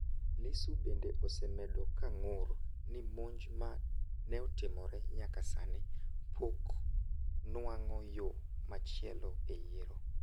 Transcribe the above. Lissu bende osebedo ka ng'ur ni monj ma neotimne nyaka sani poko nuang'o yo machielo e yiero